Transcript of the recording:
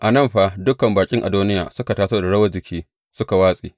A nan fa, dukan baƙin Adoniya suka taso da rawar jiki suka watse.